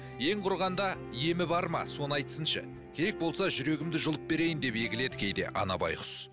ең құрығанда емі бар ма соны айтсыншы керек болса жүрегімді жұлып берейін деп егіледі кейде ана байғұс